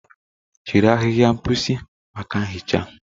Jiri ahịhịa mposi maka nhicha.